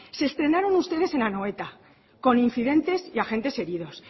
se estrenaron ustedes en anoeta con incidentes y agentes heridos